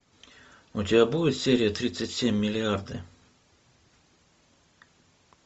у тебя будет серия тридцать семь миллиарды